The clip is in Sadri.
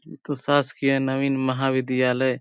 इ तो शासकीय नवीन महाविद्यालय --